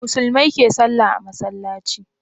Musulmai ke sallah a masallaci